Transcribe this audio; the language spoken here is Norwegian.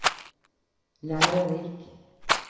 lærerik